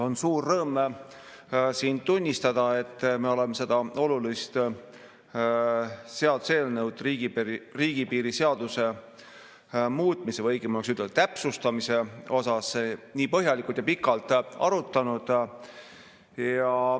On suur rõõm siin tunnistada, et me oleme seda olulist seaduseelnõu, riigipiiri seaduse muutmise või õigem oleks öelda, täpsustamise eelnõu nii põhjalikult ja pikalt arutanud.